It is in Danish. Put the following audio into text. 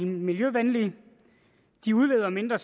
miljøvenlige de udleder mindre